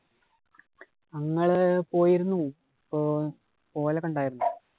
ഞങ്ങള് പോയിരുന്നു. ഇപ്പൊ പോകലൊക്കെ ഉണ്ടായിരുന്നു.